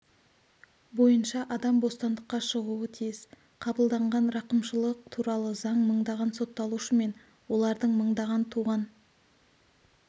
бойынша адам бостандыққа шығуы тиіс қабылданған рақымшылық туралы заң мыңдаған сотталушы мен олардың мыңдаған туған